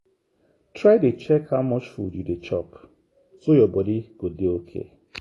try dey check how much food you dey chop so your body go dey okay.